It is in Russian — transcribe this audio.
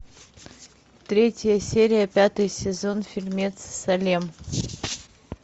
третья серия пятый сезон фильмец салем